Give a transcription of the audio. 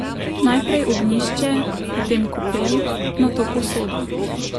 Najprej ognjišče, potem kopel, nato posoda.